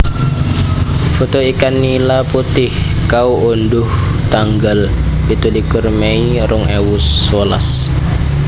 Foto ikan nila putih kaundhuh tanggal pitulikur mei rong ewu sewelas